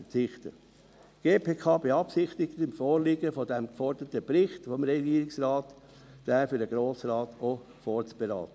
Die GPK beabsichtigt, bei Vorliegen den geforderten Bericht des Regierungsrates für den Grossen Rat vorzuberaten.